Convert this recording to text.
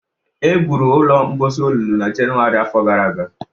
Egwuru ụlọ mposi olulu na Jenụwarị afọ gara aga